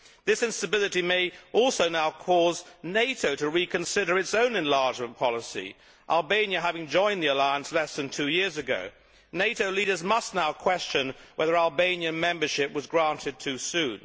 This instability may also now cause NATO to reconsider its own enlargement policy, Albania having joined the alliance less than two years ago. NATO leaders must now question whether Albanian membership was granted too soon.